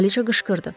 Kraliça qışqırdı.